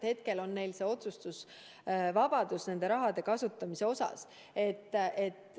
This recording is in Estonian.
Hetkel on neil otsustusvabadus selle raha kasutamise osas.